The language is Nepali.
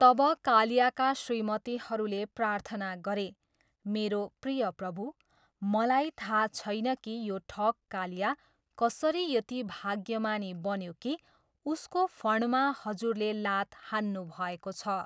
तब कालियाका श्रीमतीहरूले प्रार्थना गरे, मेरो प्रिय प्रभु ,मलाई थाहा छैन कि यो ठग कालिया कसरी यति भाग्यमानी बन्यो कि उसको फणमा हजुरले लात हान्नुभएको छ।